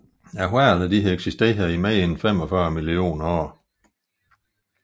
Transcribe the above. Hvalerne har eksisteret i mere end 45 millioner år